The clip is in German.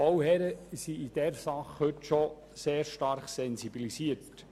Die Bauherren sind in dieser Sache schon recht gut sensibilisiert.